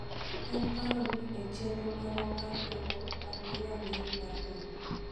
en paro ni e chenro marwa mar doho, wan gi rang�iny mag doho,